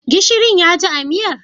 Gishirin ya ji a miyar?